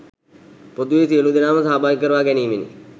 පොදුවේ සියලු දෙනාම සහභාගි කරවා ගැනීමෙනි.